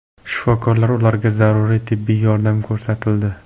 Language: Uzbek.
Shifokorlar ularga zaruriy tibbiy yordam ko‘rsatildi.